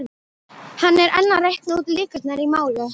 Hann er enn að reikna út líkurnar í máli